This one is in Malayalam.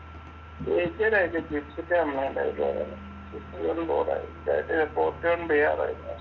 ചേച്ചിയുടെ port എയ്യാനും തയ്യാറായില്ല